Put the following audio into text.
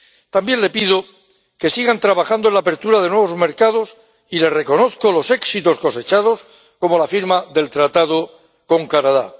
También le pido que sigan trabajando en la apertura de nuevos mercados y le reconozco los éxitos cosechados, como la firma del tratado con Canadá.